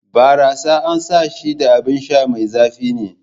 Barassa an san shi da abin sha mai zafi ne.